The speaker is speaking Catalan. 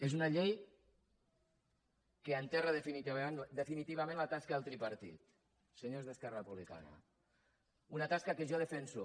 és una llei que enterra definitivament la tasca del tripartit senyors d’esquerra republicana una tasca que jo defenso